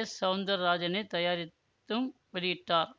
S Soundar ராஜனே தயாரித்தும் வெளியிட்டார்